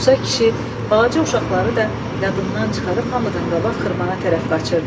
Musa kişi balaca uşaqları da yadından çıxarıb hamıdan qabaq xırmana tərəf qaçırdı.